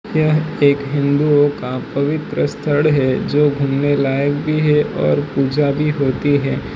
यह एक हिंदुओं का पवित्र स्थळ है जो घूमने लायक भी है और पूजा भी होती है।